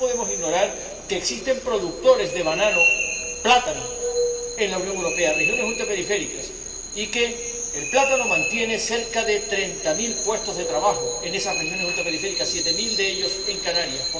Porque no podemos ignorar que existen productores de banano ―plátano― en la Unión Europea, en regiones ultraperiféricas, y que el plátano mantiene cerca de treinta mil puestos de trabajo en esas regiones ultraperiféricas, siete mil de ellos en Canarias.